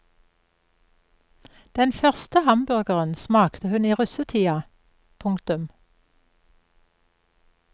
Den første hamburgeren smakte hun i russetida. punktum